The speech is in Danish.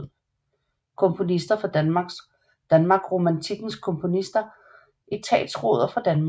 Komponister fra Danmark Romantikkens komponister Etatsråder fra Danmark